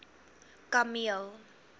kameel